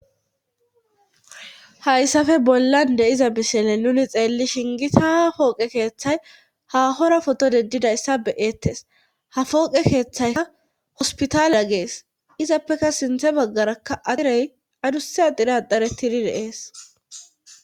hayssafe bollan de,iza bisele nuni xeelli shingita pooqe keeththay ha hora foto dedidayssa beyeettes ha pooqe keeththaykka hospitaaleya gees izappeka sinthe baggarakka axirey aduse axirey axaretidi deees